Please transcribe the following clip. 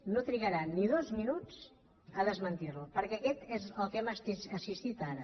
no trigarà ni dos minuts a desmentir lo perquè això és al que hem assistit ara